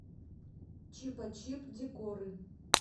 чипачип декоры